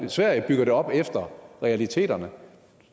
sverige bygger det op efter realiteterne